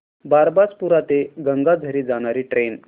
बारबासपुरा ते गंगाझरी जाणारी ट्रेन